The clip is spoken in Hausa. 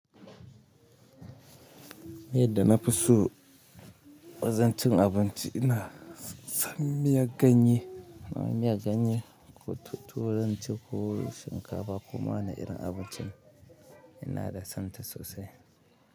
Miyan da na fi so wajan cin abinci ina son miyar ganye. Miyar ganye ko turanci ko shinkafa koma wani irin abinci ina da son ta sosai.